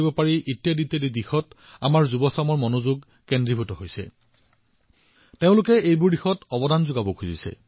আজি আমাৰ দেশৰ যুৱপ্ৰজন্মই ইয়াৰ ওপৰত গুৰুত্ব আৰোপ কৰিছে কিবা এটা অৱদান আগবঢ়াব বিচাৰিছে